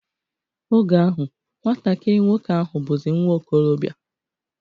Oge ahụ, nwatakiri nwoke ahụ bụzi nwa okolobia